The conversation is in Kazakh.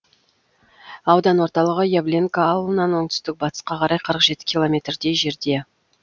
аудан орталығы явленка ауылынан оңтүстік батысқа қарай қырық жеті километрдей жерде